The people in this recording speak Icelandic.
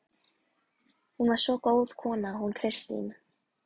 Hún var svo góð kona hún Kristín.